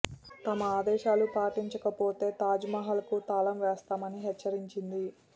తమ ఆదేశాలు పాటించకపోతే తాజ్ మహల్ కు తాళం వేస్తామని హెచ్చరించింది